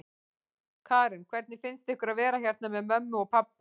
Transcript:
Karen: Hvernig finnst ykkur að vera hérna með mömmu og pabba?